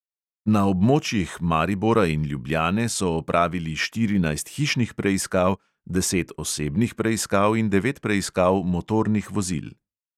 Na območjih maribora in ljubljane so opravili štirinajst hišnih preiskav, deset osebnih preiskav in devet preiskav motornih vozil.